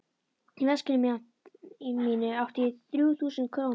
Í veskinu mínu átti ég þrjú þúsund krónur.